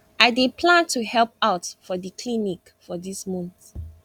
i dey plan to help out for di health clinic for dis month